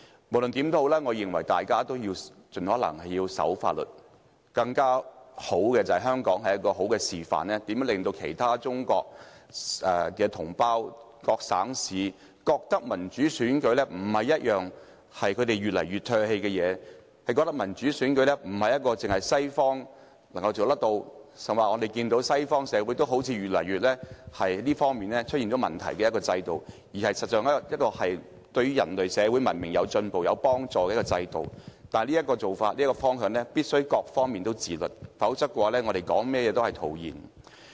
無論如何，我認為大家應該盡可能遵守法律，更理想的情況是香港可以起到好的示範作用，令中國各省市的同胞覺得民主選舉不應是他們越來越唾棄的事情，令他們覺得民主選舉不單是西方國家才能做到的事情——事實上，西方社會的選舉制度好像亦出現越來越多問題——令他們覺得民主選舉是有助人類社會文明進步的制度，但這種做法和方向必須各方面自律，否則說甚麼也是徒然。